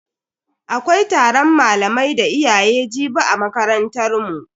Akwai taron malamai da iyaye jibi a makarantar mu.